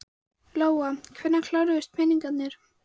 Lóa: Hvenær kláruðust peningarnir?